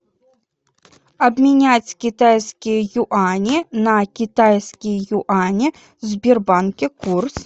обменять китайские юани на китайские юани в сбербанке курс